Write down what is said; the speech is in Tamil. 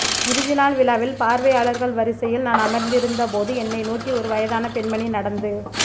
இறுதி நாள் விழாவில் பார்வையாளர்கள் வரிசையில் நான் அமர்ந்திருந்த போது என்னை நோக்கி ஒரு வயதான பெண்மணி நடந்து